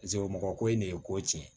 Paseke mɔgɔ ko in de ye ko tiɲɛ